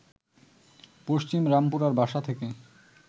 পশ্চিম রামপুরার বাসা থেকে